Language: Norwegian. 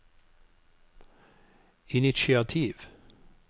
initiativ